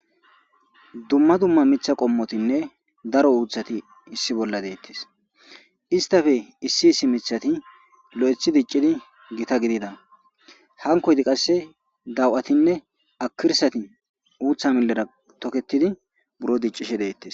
Dumma dumma mitha qommotinne daro uuthati issi bolla deettes istafe issi issi mithati lo7ethi diccidi gita gidida hankoydi qasse daw7atinne akirsati uutha milera tokettidi buro diccishe deettes.